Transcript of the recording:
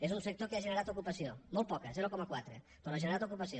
és un sector que ha generat ocupació molt poca zero coma quatre però ha generat ocupació